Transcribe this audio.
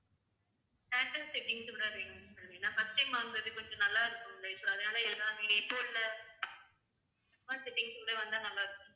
theater settings ஓட வேணும் sir ஏன்னா first time வாங்குறது கொஞ்சம் நல்லா இருக்கணும் life long settings ஓட வந்தா நல்லா இருக்கும்